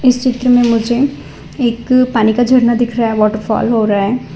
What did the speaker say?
इस चित्र में मुझे एक पानी का झरना दिख रहा है वॉटर फॉल हो रहा है।